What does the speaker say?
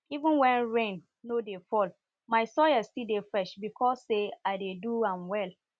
even when rain no dey fall my soil still dey fresh because say i dey do am well